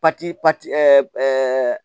Pati pati